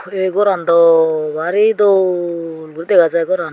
tey ei goran daw bari dol guri dega jai ai goran.